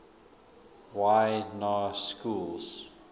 y na schools